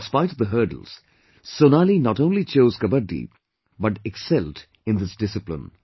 In spite of the hurdles, Sonali not only chose Kabaddi but excelled in this discipline